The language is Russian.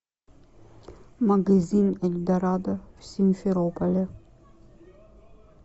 магазин эльдорадо в симферополе